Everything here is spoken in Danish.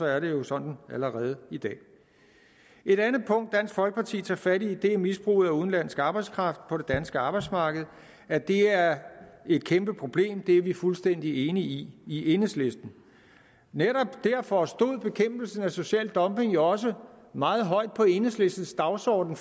er det jo sådan allerede i dag et andet punkt dansk folkeparti tager fat i er misbruget af udenlandsk arbejdskraft på det danske arbejdsmarked at det er et kæmpe problem er vi fuldstændige enige i i enhedslisten netop derfor stod bekæmpelse af social dumping jo også meget højt på enhedslistens dagsorden